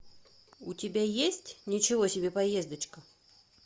у тебя есть ничего себе поездочка